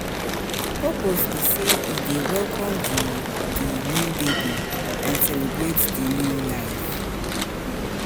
di purpose be say e dey welcome di di new baby and celebrate di new life.